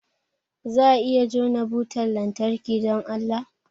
Za a iya jona butar lantarki, don Allah?